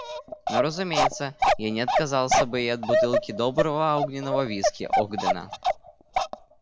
но разумеется я не отказался бы и от бутылки доброго огненного виски огдена